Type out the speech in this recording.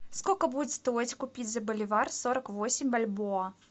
сколько будет стоить купить за боливар сорок восемь бальбоа